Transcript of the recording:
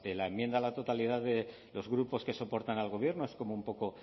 las enmienda a la totalidad de los grupos que soportan al gobierno es como un poco